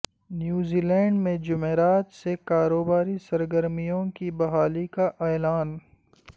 New Zealand میں جمعرات سے کاروباری سرگرمیوں کی بحالی کا اعلان